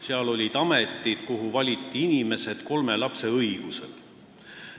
Seal olid ametid, kuhu valiti inimesed kolme lapse õiguse alusel.